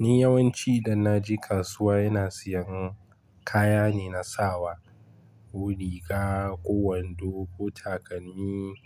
Ni yawanci idan na je kasuwa ina siyan kaya ne na sawa, ko riga ko wando ko takalmi,